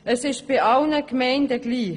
Es ist bei allen Gemeinden gleich: